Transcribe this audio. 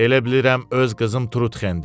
Elə bilirəm öz qızım Trutxendir.